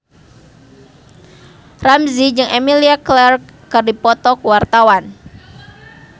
Ramzy jeung Emilia Clarke keur dipoto ku wartawan